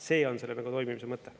See on selle … toimimise mõte.